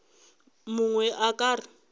yo mongwe a ka re